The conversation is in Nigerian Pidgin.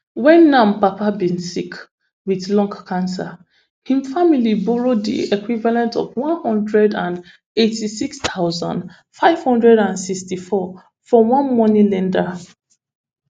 wen nam papa bin sick wit lung cancer im family borrow di equivalent of one hundred and eighty-six thousand, five hundred and sixty-four from one money lender